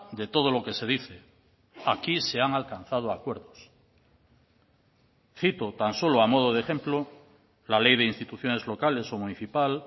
de todo lo que se dice aquí se han alcanzado acuerdos cito tan solo a modo de ejemplo la ley de instituciones locales o municipal